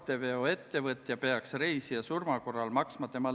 ÜRO liikmesriigina aitab Eesti kaasa rahu saavutamisele kriisipiirkondades.